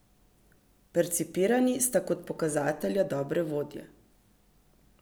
Percipirani sta kot pokazatelja dobrega vodje.